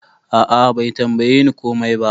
A'a Bai tambaye ni komai ba.